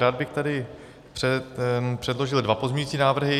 Rád bych tady předložil dva pozměňovací návrhy.